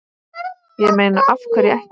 Ég meina af hverju ekki?